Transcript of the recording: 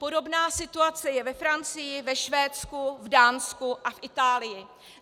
Podobná situace je ve Francii, ve Švédsku, v Dánsku a v Itálii.